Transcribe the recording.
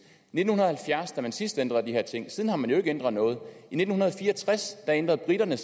nitten halvfjerds man sidst ændrede de her ting siden har man jo ikke ændret noget i nitten fire og tres ændrede briterne